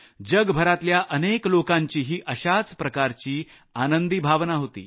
जगभरातल्या अनेक लोकांचाही असाच गैरसमज होता